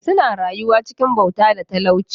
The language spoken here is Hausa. Suna rayuwa cikin bauta da talauci.